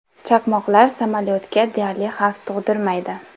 Chaqmoqlar samolyotga deyarli xavf tug‘dirmaydi.